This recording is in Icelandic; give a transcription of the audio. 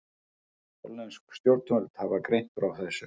Hollensk stjórnvöld hafa greint frá þessu